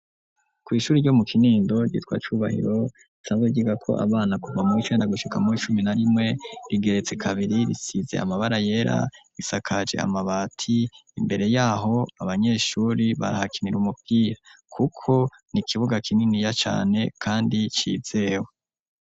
Kw'ishuri ryo mu kinindo ryitwa cubahiro isange ryiga ko abana kuva mu icenda gushika mu icumi na rimwe rigeretse kabiri risize amabara yera isakaje amabati imbere yaho abanyeshuri barahakinira umupita kuko ni ikibuga kinini ya cane kandi cizewe.